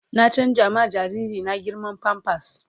Na canza ma jariri na girman "pampers "